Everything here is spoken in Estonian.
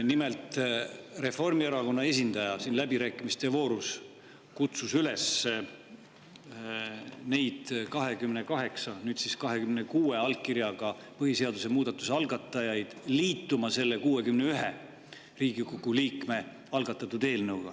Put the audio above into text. Nimelt, Reformierakonna esindaja kutsus siin läbirääkimiste voorus üles 28, nüüd 26 allkirjaga põhiseaduse muudatuse algatajaid liituma selle 61 Riigikogu liikme algatatud eelnõuga.